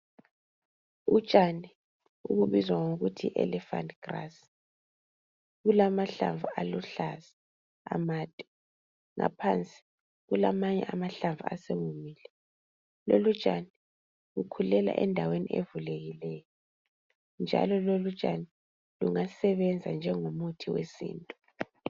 Utshani obubizwa ngokuthi yi elephant grass bulamahlamvu aluhlaza amade ngaphansi kulamanye amahlamvu asewomile lolutshani lukhulela endaweni evulekileyo njalo lolutshani lungasebenza njengomuthi wesintu.